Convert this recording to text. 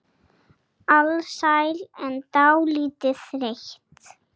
Alsæl en dálítið þreytt.